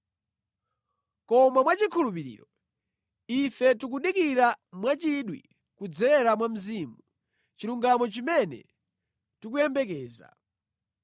Koma mwachikhulupiriro, ife tikudikira mwachidwi kudzera mwa Mzimu, chilungamo chimene tikuyembekeza.